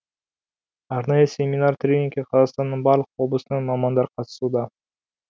арнайы семинар тренингке қазақстанның барлық облысынан мамандар қатысуда